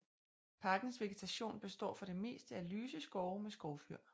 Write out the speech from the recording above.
Parkens vegetation består for det meste af lyse skove med skovfyr